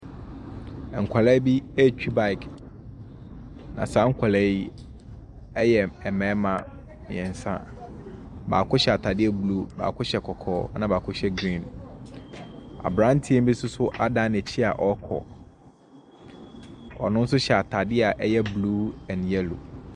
Nkwadaa bi retwi bike, na saa nkwadaa yi yɛ mmarima mmeɛnsa. Baako hyɛ atadeɛ blue, baako hyɛ kɔkɔɔ, ɛnna baako hyɛ green. Aberanteɛ bi nso so adan n'akyi a ɔrekɔ. Ɔno nso hyɛ atade a ɛyɛ blue and yellow.